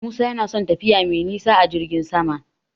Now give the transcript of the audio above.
Musa yana son tafiya mai nisa a jirgin sama.